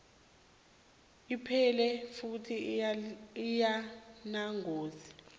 iphephile futhi ayinangozi